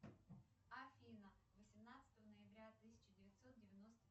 афина восемнадцатого ноября тысяча девятьсот девяносто